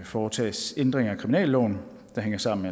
foretages ændringer af kriminalloven der hænger sammen